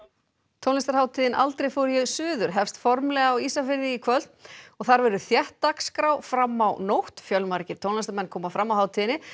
tónlistarhátíðin aldrei fór ég suður hefst formlega á Ísafirði í kvöld og þar verður þétt dagskrá fram á nótt fjölmargir tónlistarmenn koma fram á hátíðinni